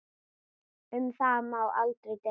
Um það má deila.